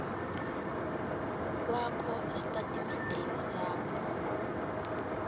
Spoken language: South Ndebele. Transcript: kwakho estatimendeni sakho